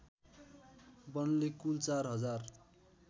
वनले कुल चार हजार